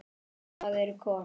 En hvað eru kol?